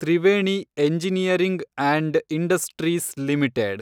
Triveni engineering and industries limited